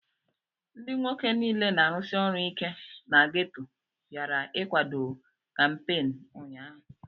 Ndị nwoke niile na-arụsi ọrụ ike na gétò bịara ịkwado kampééni ụnyaahụ